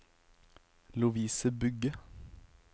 Lovise Bugge